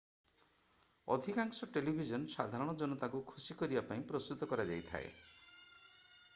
ଅଧିକାଂଶ ଟେଲିଭିଜନ ସାଧାରଣ ଜନତାଙ୍କୁ ଖୁସି କରିବା ପାଇଁ ପ୍ରସ୍ତୁତ କରାଯାଇଥାଏ